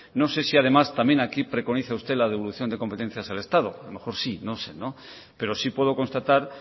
no sé si además también aquí preconiza usted la devolución de competencias al estado a lo mejor sí no sé pero sí puedo constatar